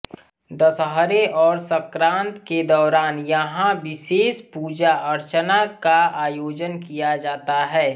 दशहरे और सक्रांत के दौरान यहां विशेष पूजा अर्चना का आयोजन किया जाता है